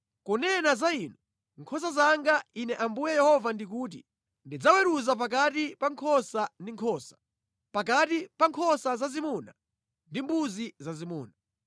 “ ‘Kunena za inu, nkhosa zanga, Ine Ambuye Yehova ndikuti: Ndidzaweruza pakati pa nkhosa ndi nkhosa, pakati pa nkhosa zazimuna ndi mbuzi zazimuna.